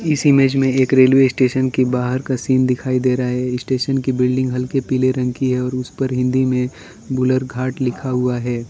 इस इमेज में एक रेलवे स्टेशन की बाहर का सीन दिखाई दे रहा है स्टेशन की बिल्डिंग हल्के पीले रंग की है और उसे पर हिंदी में बलूरघाट लिखा हुआ है।